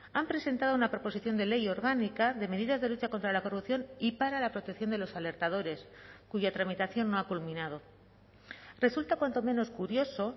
han presentado una proposición de ley orgánica de medidas de lucha contra la corrupción y para la protección de los alertadores cuya tramitación no ha culminado resulta cuanto menos curioso